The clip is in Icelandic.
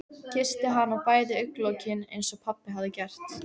Kyssti hana á bæði augnalokin einsog pabbi hafði gert.